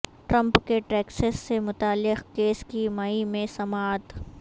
Trump کے taxes سے متعلق کیس کی مئی میں سماعت